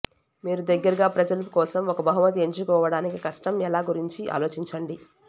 మీరు దగ్గరగా ప్రజలు కోసం ఒక బహుమతి ఎంచుకోవడానికి కష్టం ఎలా గురించి ఆలోచించండి